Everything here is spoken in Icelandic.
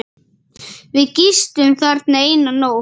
Við gistum þarna eina nótt.